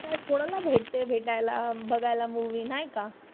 काय कोणाला भेटते भेटायला बघायला मूवी नाही का?